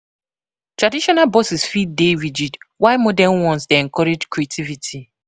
Traditional bosses fit dey rigid, while modern ones dey encourage creativity.